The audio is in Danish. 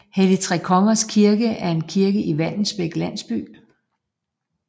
Helligtrekongers Kirke er en kirke i Vallensbæk Landsby